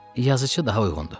Yazıçı daha uyğundur.